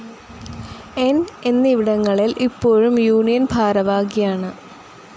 ന്‌ എന്നിവിടങ്ങളിൽ ഇപ്പോഴും യൂണിയൻ ഭാരവാഹിയാണ്.